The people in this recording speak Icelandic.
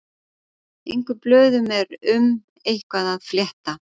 Engum blöðum er um eitthvað að fletta